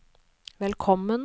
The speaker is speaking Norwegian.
velkommen